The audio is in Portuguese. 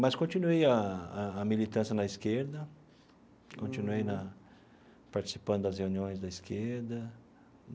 Mas continuei a a a militância na esquerda, continuei na participando das reuniões da esquerda.